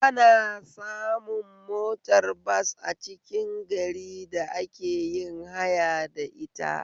Ana samun motar bas a cikin gari da ake yin haya da ita